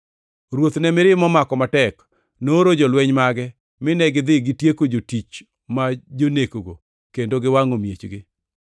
Ruoth ne mirima omako matek. Nooro jolweny mage mine gidhi gitieko jotich ma jonekgo kendo giwangʼo miechgi.